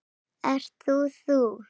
Ert þú þú?